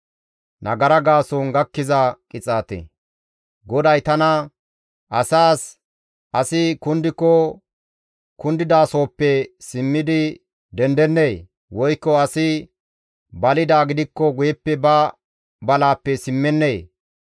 GODAY tana, «Asaas, ‹Asi kundiko kundidasohoppe simmidi dendennee? Woykko asi balidaa gidikko guyeppe ba balaappe simmennee?